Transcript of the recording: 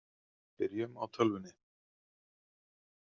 Byrjum á tölvunni.